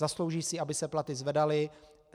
Zaslouží si, aby se platy zvedaly.